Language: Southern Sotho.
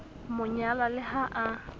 mo nyala le ha a